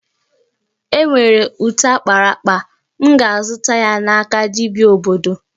E nwere ute akpara akpa, m ga-azụta ya n'aka dibia obodo